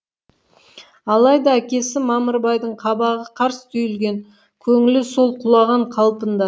алайда әкесі мамырбайдың қабағы қарс түйілген көңілі сол құлаған қалпында